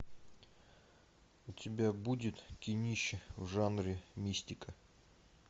у тебя будет кинище в жанре мистика